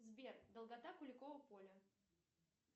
сбер долгота куликова поля